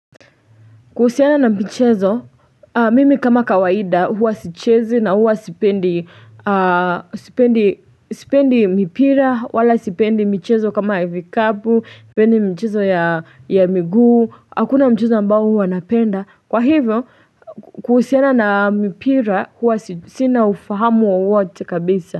Kuhusiana na michezo, mimi kama kawaida huwa sichezi na huwa sipendi mpira wala sipendi michezo kama ya vikabu, sipendi michezo ya miguu, hakuna mchezo ambao huwa napenda, kwa hivyo kuhusiana na mipira huwa sina ufahamu wowote kabisa.